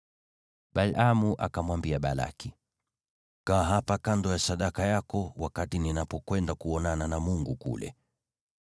Balaamu akamwambia Balaki, “Kaa hapa kando ya sadaka yako wakati ninapokwenda kuonana na Mungu kule.”